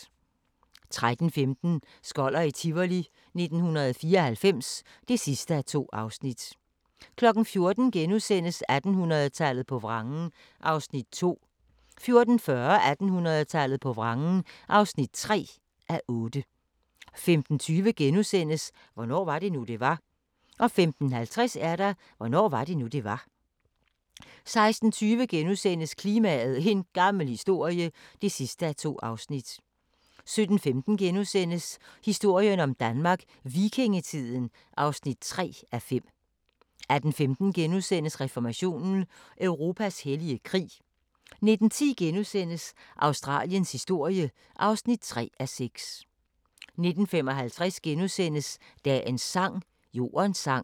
13:15: Skoller i Tivoli 1994 (2:2) 14:00: 1800-tallet på vrangen (2:8)* 14:40: 1800-tallet på vrangen (3:8) 15:20: Hvornår var det nu, det var? * 15:50: Hvornår var det nu, det var? 16:20: Klimaet – en gammel historie (2:2)* 17:15: Historien om Danmark: Vikingetiden (3:5)* 18:15: Reformationen – Europas hellige krig * 19:10: Australiens historie (3:6)* 19:55: Dagens sang: Jordens sang *